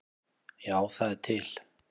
Já, það er til.